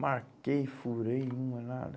Marquei, furei, não é nada.